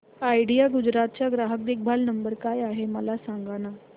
idea Gujarat चा ग्राहक देखभाल नंबर काय आहे मला सांगाना